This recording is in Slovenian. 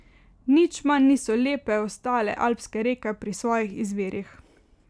Nič manj niso lepe ostale alpske reke pri svojih izvirih.